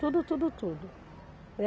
Tudo, tudo, tudo, né.